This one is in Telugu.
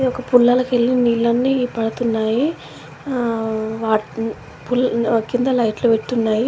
ఒక పుల్లల కెళ్ళి నీళ్లన్నీ పడుతున్నాయి. వాటిని ఫుల్ కింద లైట్ లు పెట్టి ఉన్నాయి.